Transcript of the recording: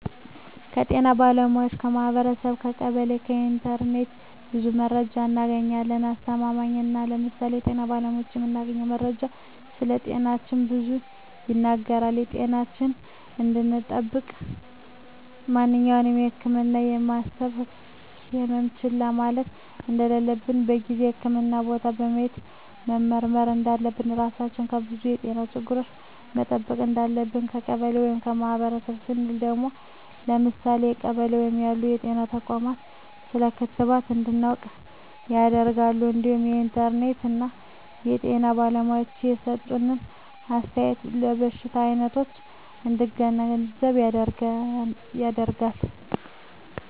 ከጤና ባለሙያዎች ,ከማህበረሰቡ , ከቀበሌ ,ከኢንተርኔት ብዙ መረጃ እናገኛለን። አስተማማኝ ነው ለምሳሌ ከጤና ባለሙያዎች የምናገኘው መረጃ ስለጤናችን ብዙ ይናገራል ጤናችን እንድጠብቅ ማንኛውም የህመም የሚሰማን ህመሞች ችላ ማለት እንደለለብን በጊዜው ህክምህና ቦታ ሄደን መመርመር እንዳለብን, ራሳችን ከብዙ የጤና ችግሮች መጠበቅ እንዳለብን። ከቀበሌ ወይም ከማህበረሰቡ ስንል ደግሞ ለምሳሌ በቀበሌ ውስጥ ያሉ ጤና ተቋማት ስለ ክትባት እንድናውቅ ያደርገናል እንዲሁም ከኢንተርኔት የጤና ባለሙያዎች የሰጡትን አስተያየት የበሽታ አይነቶች እንድንገነዘብ ያደርጋል።